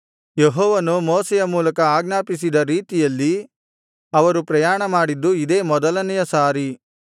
ಯೆಹೋವನು ಮೋಶೆಯ ಮೂಲಕ ಆಜ್ಞಾಪಿಸಿದ ರೀತಿಯಲ್ಲಿ ಅವರು ಪ್ರಯಾಣಮಾಡಿದ್ದು ಇದೇ ಮೊದಲನೆಯ ಸಾರಿ